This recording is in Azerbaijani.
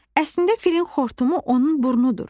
Əslində filin xortumu onun burnudur.